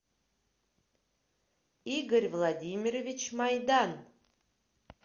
игорь владимирович майдан